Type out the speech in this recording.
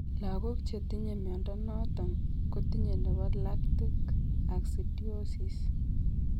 Lagok chetinye mnyondo noton kotinye nebo lactic acidiosis